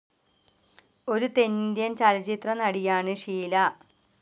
ഒരു തെന്നിന്ത്യൻ ചലച്ചിത്രനടിയാണ് ഷീല.